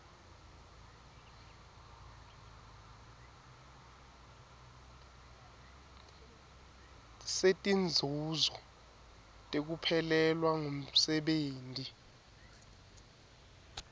setinzuzo tekuphelelwa ngumsebenti